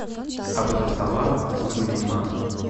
абдусалам сулейманов